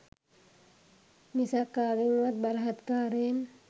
මිසක් කාගෙන්වත් බලහත්කාරයෙන්